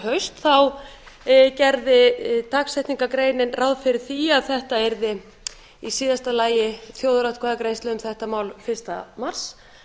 haust gerði dagsetningargrein ráð fyrir því að þetta yrði í síðasta lagi þjóðaratkvæðagreiðsla um þetta mál fyrsta mars